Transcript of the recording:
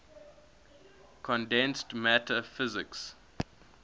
condensed matter physics